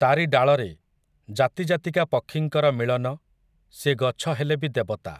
ତା'ରି ଡାଳରେ, ଜାତି ଜାତିକା ପକ୍ଷୀଙ୍କର ମିଳନ, ସିଏ ଗଛ ହେଲେ ବି ଦେବତା ।